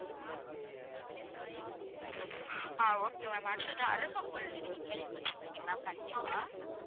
ஆஹ் okay ma'am அடுத்தது அருகம்புல்னு நீங்க கேள்விப்பட்டு இருப்பிங்க ma'am கண்டிப்பா